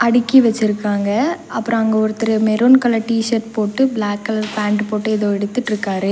அடுக்கி வெச்சுருக்காங்க அப்றோ அங்க ஒருத்தரு மெருன் கலர் டீசர்ட் போட்டு பிளாக் கலர் பேண்ட் போட்டு ஏதோ எடுத்துட்ருக்காரு.